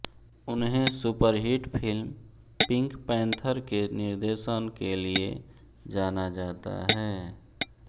उन्हें superhit film Pink Panther के निर्देशन के लिए जाना जाता है